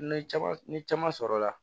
Ni caman ni caman sɔrɔla